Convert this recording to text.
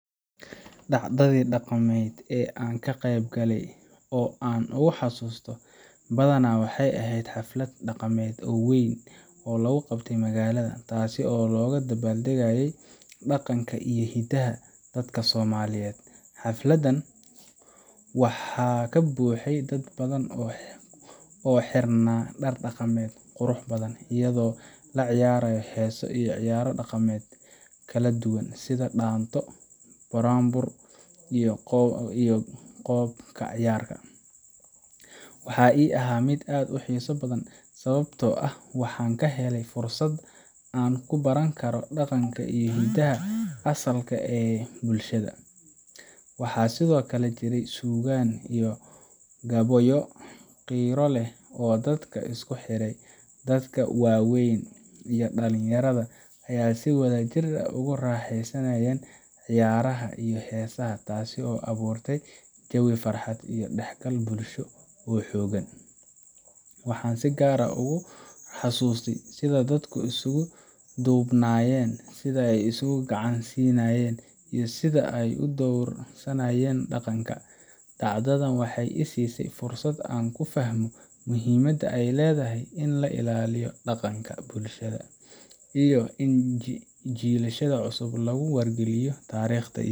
Dhacdadii dhaqameed ee aan ka qayb galay oo aan ugu xasuusta badnaa waxay ahayd xaflad dhaqameed weyn oo lagu qabtay magaalada, taas oo looga dabaaldegayay dhaqanka iyo hidaha dadka Soomaaliyeed. Xafladan waxaa ka buuxay dad badan oo xirnaa dhar dhaqameed qurux badan, iyadoo la ciyaarayo heeso iyo ciyaaro dhaqameedyo kala duwan sida dhaanto, buraanbur, iyo qoob ka ciyaar. Waxa ii ahaa mid aad u xiiso badan sababtoo ah waxaan ka helay fursad aan ku baran karo dhaqanka iyo hidaha asalka ah ee bulshada. Waxaa sidoo kale jiray suugaan iyo gabayo qiiro leh oo dadka isku xidhay. Dadka waaweyn iyo dhalinyarada ayaa si wadajir ah ugu raaxaysanayay ciyaaraha iyo heesaha, taas oo abuurtay jawi farxad iyo is dhexgal bulsho oo xooggan. Waxaan si gaar ah ugu xasuustaa sida dadku isugu duubnaayeen, sida ay isku gacan siinayeen, iyo sida ay u dhowrsanayeen dhaqanka. Dhacdadan waxay i siisay fursad aan ku fahmo muhiimadda ay leedahay in la ilaaliyo dhaqanka iyo in jiilashada cusub lagu wargeliyo taariikhda.